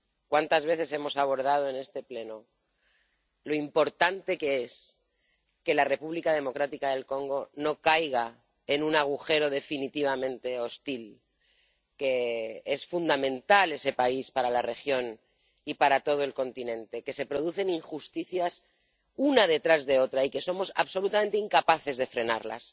Cuántas veces hemos abordado en este Pleno lo importante que es que la República Democrática del Congo no caiga en un agujero definitivamente hostil, lo fundamental que es ese país para la región y para todo el continente, que se producen injusticias una detrás de otra y que somos absolutamente incapaces de frenarlas.